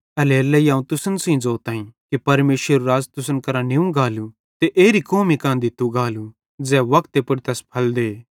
एल्हेरेलेइ अवं तुसन सेइं ज़ोताईं कि परमेशरेरू राज़ तुसन करां निव गालू ते एरी कौमी कां दित्तू गालू ज़ै वक्ते पुड़ तैस फल दे